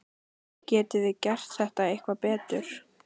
Getum við gert þetta eitthvað betur?